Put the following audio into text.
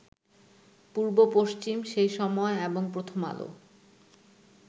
পূর্ব-পশ্চিম, সেই সময় এবং প্রথম আলো